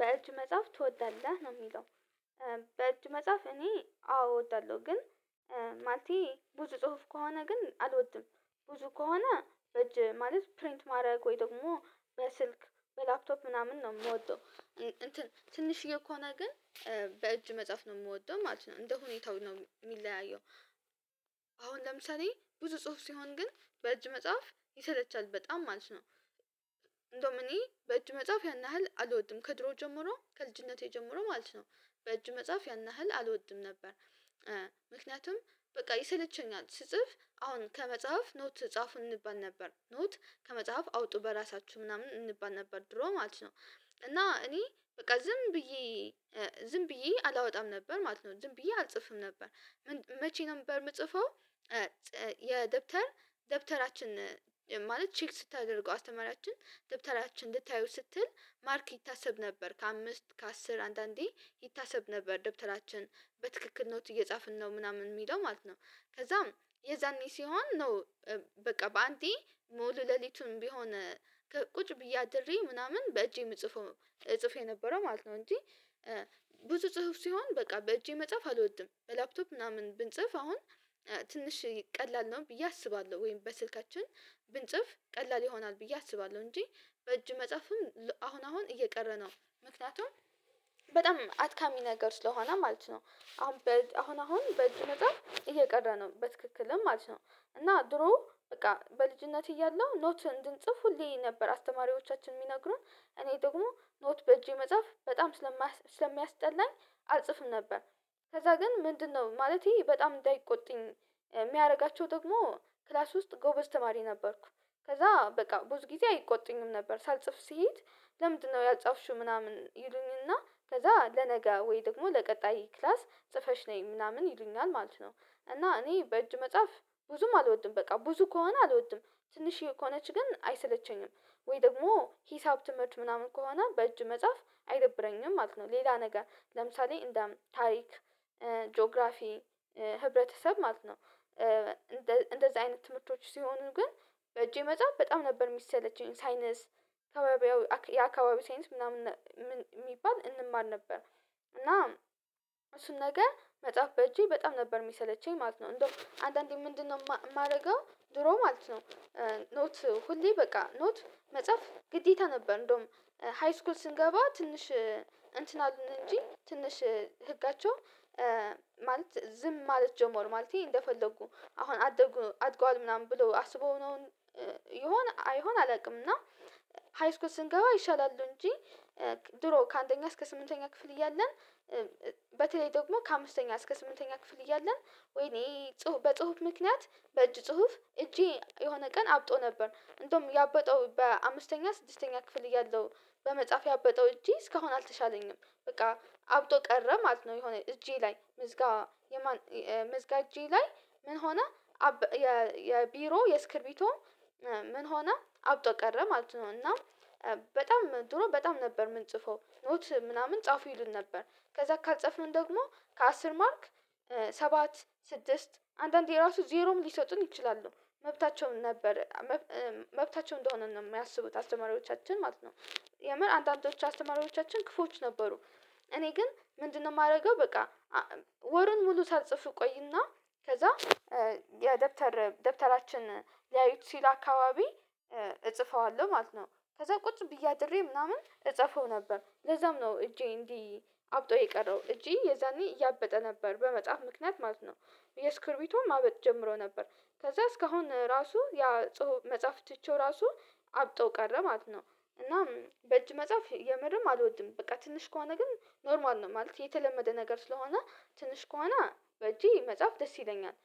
በእጅ መጻፍ ትወዳለህ? ነው የሚለው በእጅ መጻፍ እኔ አዎ እወዳለሁ ግን ማለቴ ብዙ ጽሁፍ ከሆነ ግን አልወድም ብዙ ከሆነ እጅ ማለት ፕሪንት ማድረግ ወይ ደግሞ በስልክ በላፕቶፕ ምናምን ነው የምወደው እንትን ትንሽዬ ከሆነ ግን በእጅ መጻፍ ነው የምወደው ማለት ነው እንደ ሁኔታው ነው እሚለያየው አሁን ለምሳሌ ብዙ ጽሁፍ ሲሆን ግን በእጅ መጻፍ ይሰለቻል በጣም ማለት ነው እንደውም እኔ በእጅ መጻፍ ያን ያህል አልወድም ከድሮ ጀምሮ ከልጅነቴ ጀምሮ ማለት ነው በእጅ መጻፍ ያን ያህል አልወድም ነበር ምክንያቱም በቃ ይሰለቸኛል አሁን ስጽፍ አሁን ከመጽሐፍ ኖት ጻፉ እንባል ነበር ኖት ከመጽሐፍ አውጡ በራሳችሁ ምናምን እንባል ነበር ድሮ ማለት ነው እና እኔ በቃ ዝም ብዬ ዝም ብዬ አላወጣም ነበር ማለት ነው ዝም ብዬ አልጽፍም ነበር መቼ ነበር የምጽፈው የደብተር ደብተራችን ማለት ቼክ ስታደርገው አስተማሪያችን ደብተራችን ልታየው ስትል ማርክ ይታሰብ ነበር ከአምስት ከአስር አንዳንዴ ይታሰብ ነበር ደብተራችን በትክክል ኖት እየጻፍን ነው ምናምን የሚለው ማለት ነው ከዛም የዛኔ ሲሆን ነው በቃ በአንዴ ሙሉ ሌሊቱን ቢሆን ቁጭ ብዬ አድሬ ምናምን በእጄ የምጽፈው ጽፎ የነበረው ማለት ነው እንጂ ብዙ ጽሁፍ ሲሆን በቃ በእጄ መጽሐፍ አልወድም ላፕቶፕ ምናምን ብንጽፍ አሁን ትንሽ ቀላል ነው ብዬ አስባለሁ ወይም በስልካችን ብንጽፍ ቀላል ይሆናል ብዬ አስባለሁ እንጂ በእጅ መጻፍም አሁን አሁን እየቀረ ነው ምክንያቱም በጣም አድካሚ ነገር ስለሆነ ማለት ነው አሁን በአሁን አሁን በእጅ ነገር እየቀረ ነው በትክክልም ማለት ነው እና ድሮ በቃ በልጅነት እያለሁ ኖት እንድንጽፍ ሁሌ ነበር አስተማሪዎቻችን የሚነግሩን እኔ ደግሞ ኖት በእጄ መጻፍ በጣም ስለሚያስጠላኝ አልጽፍም ነበር ከዛ ግን ምንድነው ማለቴ በጣም እንዳይቆጡኝ የሚያደርጋቸው ደግሞ ክላስ ውስጥ ጎበዝ ተማሪ ነበርኩ ከዛ በቃ ብዙ ጊዜ አይቆጡኝም ነበር ሳልጽፍ ስሄድ ለምንድነው ያልጻፍሽው ምናምን ይሉኝና ከዛ ለነገ ወይ ደግሞ ለቀጣይ ክላስ ጽፈሽ ነይ ምናምን ይሉኛል ማለት ነው እና እኔ በእጅ መጻፍ ብዙም አልወድም በቃ ብዙ ከሆነ አልወድም ትንሽዬ ከሆነች ግን አይሰለቸኝም ወይ ደግሞ ሂሳብ ትምህርት ምናምን ከሆነ በእጅ መጻፍ አይደብረኝም ማለት ነው ሌላ ነገር ለምሳሌ እንደም ታሪክ ጂኦግራፊ ህብረተሰብ ማለት ነው እንደዚህ አይነት ትምህርቶች ሲሆኑ ግን በእጄ መጻፍ በጣም ነበር የሚሰለቸኝ ሳይነስ ከባቢያው የአካባቢ ሳይንስ ምናምን የሚባል እንማር ነበር እና እሱን ነገ መጻፍ በእጄ በጣም ነበር የሚሰለቸኝ ማለት ነው እንደው አንዳንዴ ምንድነው የማደርገው ድሮ ማለት ነው ኖት ሁሌ በቃ ኖት መጻፍ ግዴታ ነበር እንደውም ሃይስኩል ስንገባ ትንሽ እንትን አሉን እንጂ ትንሽ ህጋቸው ማለት ዝም ማለት ጀመር ማለቴ እንደፈለጉ አሁን አደጉ አድጓል ምናምን ብሎ አስበውነውን ይሆን አይሆን አላውቅም እና ሃይስኩል ስንገባ ይሻላሉ እንጂ ድሮ ከአንደኛ እስከ ስምንተኛ ክፍል እያለን በተለይ ደግሞ ከአምስተኛ እስከ ስምንተኛ ክፍል እያለን ወይኔ ጽሁፍ በጽሁፍ ምክንያት በእጅ ጽሁፍ እጄ የሆነ ቀን አብጦ ነበር እንደውም ያበጠው በአምስተኛ ስድስተኛ ክፍል እያለሁ በመጻፍ ያበጠው እጄ እስካሁን አልተሻለኝም በቃ አብጦ ቀረ ማለት ነው የሆነ እጄ ላይ ምዝጋ ምዝጋ እጄ ላይ ምን ሆነ አበ የቢሮ የስክርቢቶ ምን ሆነ አብጦ ቀረ ማለት ነው እና በጣም ድሮ በጣም ነበር ምንጽፈው ኖት ምናምን ጻፉ ይሉን ነበር ከዛ ካልጸፍን ደግሞ ከአስር ማርክ ሰባት ስድስት አንዳንዴ ራሱ ዜሮም ሊሰጡን ይችላሉ መብታቸውም ነበር መብታቸው እንደሆነ ነው የሚያስቡት አስተማሪዎቻችን ማለት ነው የምር አንዳንዶቹ አስተማሪዎቻችን ክፉዎች ነበሩ እኔ ግን ምንድነው የማደርገው በቃ ወርን ሙሉ ሳልጽፍ እቆይና ከዛ የደብተር ደብተራችን ሊያዩት ሲል አካባቢ እጽፈዋለሁ ማለት ነው ከዛ ቁጭ ብዬ አድሬ ምናምን እጽፈው ነበር ለዛም ነው እጄ እንዲህ አብጦ የቀረው እጄ የዛኔ እያበጠ ነበር በመጻፍ ምክንያት ማለት ነው የስክርቢቶ ማበጥ ጀምሮ ነበር ከዛ እስካሁን ራሱ ያ ጽሁፍ መጻፍ ትቼው ራሱ አብጦ ቀረ ማለት ነው እናም በእጅ መጻፍ የምርም አልወድም በቃ ትንሽ ከሆነ ግን ኖርማል ነው ማለት የተለመደ ነገር ስለሆነ ትንሽ ከሆነ በእጄ መጻፍ ደስ ይለኛል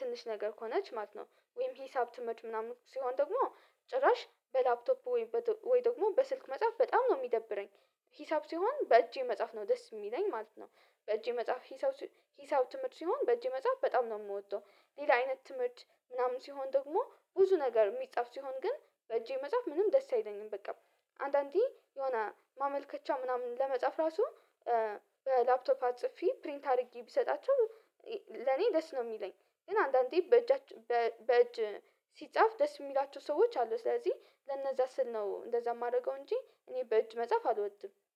ትንሽ ነገር ከሆነች ማለት ነው ወይም ሂሳብ ትምህርት ምናምን ሲሆን ደግሞ ጭራሽ በላፕቶፑ ወይ ወይ ደግሞ በስልክ መጽሐፍ በጣም ነው የሚደብረኝ ሂሳብ ሲሆን በእጄ መጻፍ ነው ደስ የሚለኝ ማለት ነው በእጄ መጻፍ ሂሳብ ሲሆን ሂሳብ ትምህርት ሲሆን በእጄ መጻፍ በጣም ነው የምወጣው ሌላ አይነት ትምህርት ምናምን ሲሆን ደግሞ ብዙ ነገር የሚጻፍ ሲሆን ግን በእጄ መጻፍ ምንም ደስ አይለኝም በቃ አንዳንዴ የሆነ ማመልከቻ ምናምን ለመጻፍ ራሱ ላፕቶፕ አጽፌ ፕሪንት አድርጌ ቢሰጣቸው ለኔ ደስ ነው የሚለኝ ግን አንዳንዴ በእጃችን በእጅ ሲጻፍ ደስ የሚላቸው ሰዎች አሉ ስለዚህ ለነዛ ስል ነው እንደዛ የማደርገው እንጂ እኔ በእጅ መጽሐፍ አልወድም